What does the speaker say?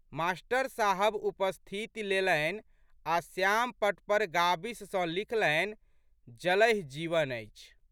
Master साहब उपस्थिति लेलनि आ' श्यामपटपर गाबिस सँ लिखलनि, जलहि जीवन अछि।